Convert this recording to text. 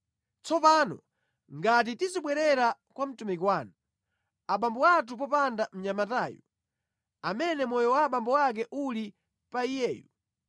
“Tsono ngati tizibwerera kwa mtumiki wanu, abambo athu popanda mnyamatayu, amene moyo wa abambo ake uli pa iyeyu,